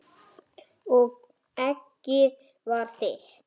Og eggið var þitt!